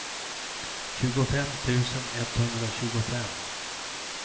tjugofem tusen etthundratjugofem